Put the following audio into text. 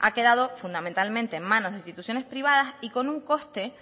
ha quedado fundamentalmente en manos de instituciones privadas y con un coste